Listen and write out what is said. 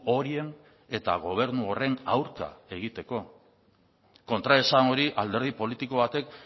horien eta gobernu horren aurka egiteko kontraesan hori alderdi politiko batek